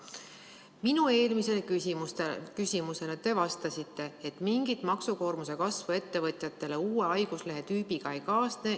Minu eelmisele küsimusele te vastasite, et mingit maksukoormuse kasvu ettevõtjatele uue haiguslehetüübiga ei kaasne.